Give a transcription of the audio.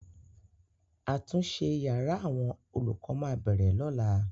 Àtúnṣe yàrá àwọn olùkọ máa bẹ̀rẹ̀ lọ́la.